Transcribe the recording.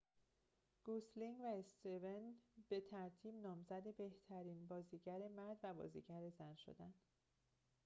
گوسلینگ و استون به ترتیب نامزد بهترین بازیگر مرد و بازیگر زن شدند